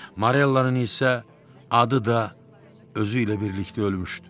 Marellanın isə adı da özü ilə birlikdə ölmüşdü.